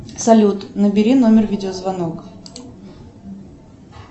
салют набери номер видеозвонок